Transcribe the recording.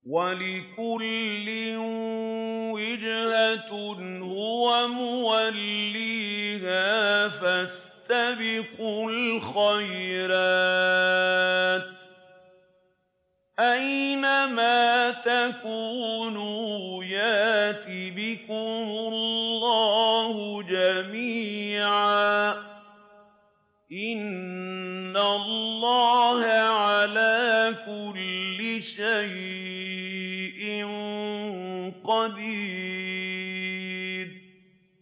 وَلِكُلٍّ وِجْهَةٌ هُوَ مُوَلِّيهَا ۖ فَاسْتَبِقُوا الْخَيْرَاتِ ۚ أَيْنَ مَا تَكُونُوا يَأْتِ بِكُمُ اللَّهُ جَمِيعًا ۚ إِنَّ اللَّهَ عَلَىٰ كُلِّ شَيْءٍ قَدِيرٌ